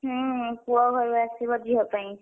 ହୁଁ ପୁଅ ଘରୁ ଆସିବ ଝିଅ ପାଇଁ।